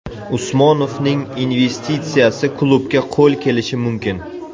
Usmonovning investitsiyasi klubga qo‘l kelishi mumkin.